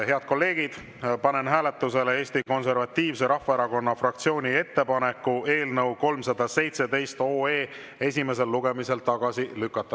Head kolleegid, panen hääletusele Eesti Konservatiivse Rahvaerakonna fraktsiooni ettepaneku eelnõu 317 esimesel lugemisel tagasi lükata.